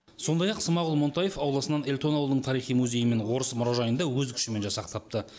сондай ақ смағұл монтаев ауласынан эльтон ауылының тарихи музейі мен орыс мұражайын да өз күшімен жасақтапты